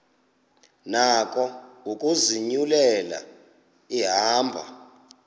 nako ukuzinyulela ihambo